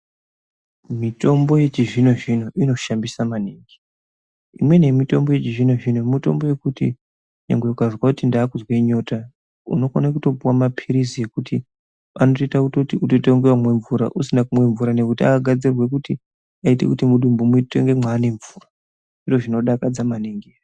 Mitombo yechizvinozvino inoshamisa maningi imweni yemitombo yechizvinozvino mitombo yekuti ngangwe ukazwe kuti ndakumwa nyota unokone kutopuwa mapirizi ekuti anotoita kutoti utoite kunge wamwe mvura usina kumwa mvura ngekuti akagadzirwa kuti ayite kuti mudumbu muite kunge mwane mvura zviro zvinodakadza maningi.